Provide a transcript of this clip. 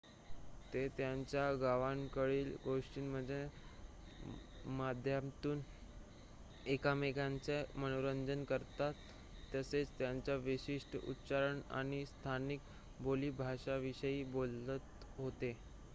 ते त्यांच्या गावांकडील गोष्टींच्या माध्यमातून एकमेकांचे मनोरंजन करत तसेच त्यांच्या विशिष्ट उच्चारण आणि स्थानिक बोलीभाषेविषयी बोलत होते